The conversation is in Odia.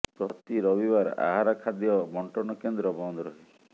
ପ୍ରତି ରବିବାର ଆହାର ଖାଦ୍ୟ ବଣ୍ଟନ କେନ୍ଦ୍ର ବନ୍ଦ ରହେ